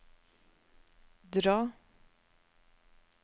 dra